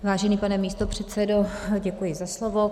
Vážený pane místopředsedo, děkuji za slovo.